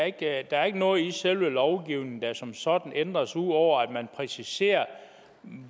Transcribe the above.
ikke er noget i selve lovgivningen der som sådan ændres ud over at man præciserer